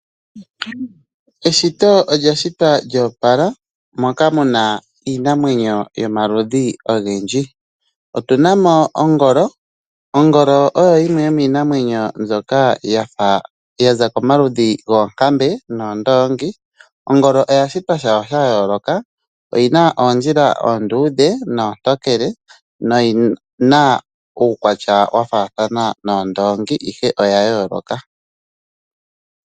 Eshito olya shitwa lyoopala moka muna iinamwenyo yomaludhi ogendji. Otuna mo ongolo, ongolo oyo yimwe yomiinamwenyo mbyoka yafa yaza komaludhi goonkambe noondoongi. Ongolo oya shitwa shafa sha yooloka, oyina oondjila oondudhe noontokele noyina uukwatya wa faathana noondongi ihe oya yooloka.